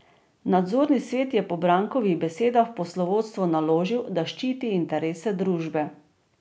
Nadzorni svet je po Brankovih besedah poslovodstvu naložil, da ščiti interese družbe.